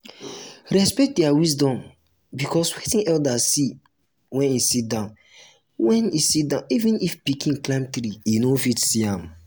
respect their wisdom because wetin elder see when e sitdown when e sitdown even if pikin climb tree e no fit see am